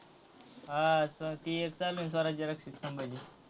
हां, ती एक स्वराज्य रक्षक संभाजी!